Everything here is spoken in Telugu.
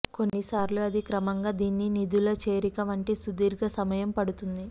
కొన్నిసార్లు అది క్రమంగా దీన్ని నిధుల చేరిక వంటి సుదీర్ఘ సమయం పడుతుంది